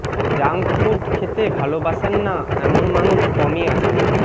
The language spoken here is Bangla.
জাঙ্ক ফুড খেতে ভালোবাসেন না এমন মানুষ কমই আছেন